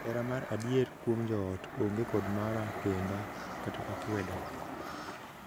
Hera mar adier kuom joot onge kod mara kenda (akweda).